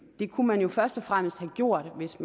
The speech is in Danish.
det kunne man jo først og fremmest have gjort hvis